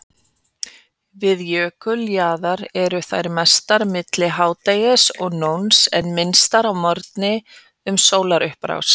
Við jökuljaðar eru þær mestar milli hádegis og nóns en minnstar að morgni um sólarupprás.